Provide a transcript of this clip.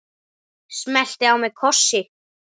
Smellti á mig kossi.